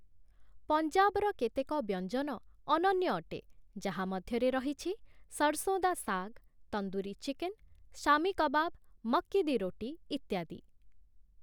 ପଞ୍ଜାବର କେତେକ ବ୍ୟଞ୍ଜନ ଅନନ୍ୟ ଅଟେ, ଯାହା ମଧ୍ୟରେ ରହିଛି 'ସର୍‌ସୋଁ ଦା ଶାଗ୍‌', 'ତନ୍ଦୁରୀ ଚିକେନ୍‌', 'ଶାମି କବାବ୍‌', 'ମକ୍କି ଦି ରୋଟି' ଇତ୍ୟାଦି ।